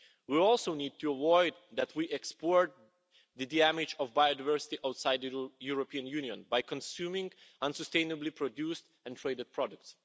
We also need to avoid exporting the damage of biodiversity outside the European Union by consuming unsustainably produced and traded products.